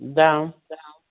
да да